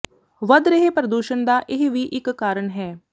ਵਧ ਰਹੇ ਪ੍ਰਦੂਸ਼ਣ ਦਾ ਇਹ ਵੀ ਇਕ ਕਾਰਨ ਹੈ